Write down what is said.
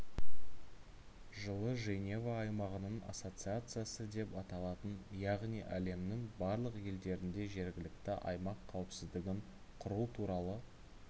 жылы женева аймағының ассоциациясы деп аталатын яғни әлемнің барлық елдерінде жергілікті аймақ қауіпсіздігін құру туралы